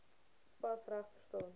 pas reg verstaan